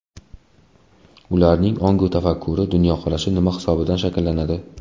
Ularning ongu tafakkuri, dunyoqarashi nima hisobidan shakllanadi?